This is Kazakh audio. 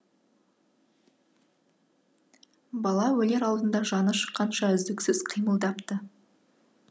бала өлер алдында жаны шыққанша үздіксіз қимылдапты